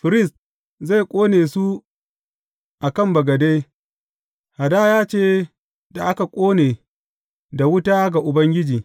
Firist zai ƙone su a kan bagade, hadaya ce da aka ƙone da wuta ga Ubangiji.